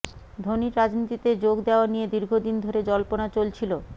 ধোনির রাজনীতিতে যোগ দেওয়া নিয়ে দীর্ঘদিন ধরে জল্পনা চলছিল